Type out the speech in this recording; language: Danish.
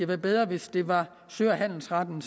være bedre hvis det var sø og handelsretten